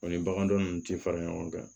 O ni bagandon nunnu ti fara ɲɔgɔn kan